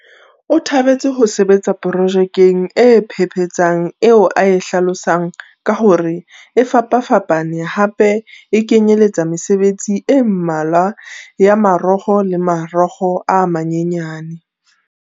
O thabetse ho sebetsa pro jekeng e phephetsang eo a e hlalosang ka hore e fapafapa ne hape e kenyeletsa mesebetsi e mmalwa ya marokgo le marokgo a manyanyane.